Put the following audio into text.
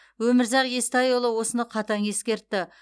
өмірзақ естайұлы осыны қатаң ескертті